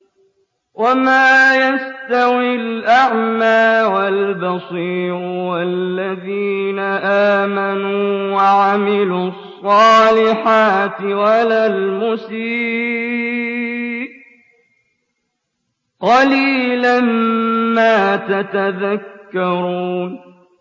وَمَا يَسْتَوِي الْأَعْمَىٰ وَالْبَصِيرُ وَالَّذِينَ آمَنُوا وَعَمِلُوا الصَّالِحَاتِ وَلَا الْمُسِيءُ ۚ قَلِيلًا مَّا تَتَذَكَّرُونَ